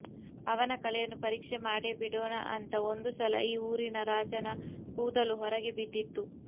ಅವನ ಕಲೆಯನ್ನು ಪರೀಕ್ಷೆ ಮಾಡೇ ಬಿಡೋಣ ಅಂತ ಒಂದುಸಲ ಈ ಊರಿನ ರಾಜನ ಕೂದಲು ಹೊರಗೆ ಬಿದ್ದಿತ್ತು